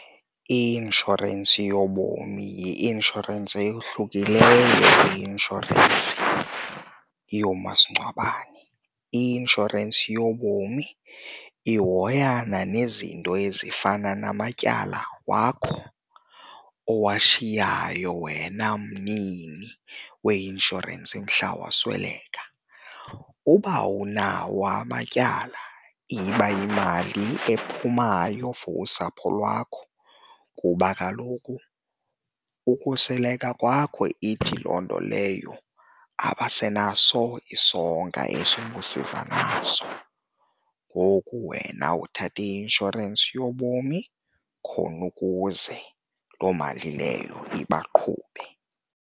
I-inshorensi yobomi yi-inshorensi eyohlukileyo kwi-inshorensi yoomasingcwabisane. I-inshorensi yobomi ihoyana nezinto ezifana namatyala wakho owashiyayo wena mnini weinshorensi mhla wasweleka. uba Awunawo amatyala iba yimali ephumayo for usapho lwakho kuba kaloku ukusweleka kwakho ithi loo nto leyo abasenaso isonka eso ubusiza naso. ngoku wena uthatha i-inshorensi yobomi khona ukuze loo mali leyo ibaqhube.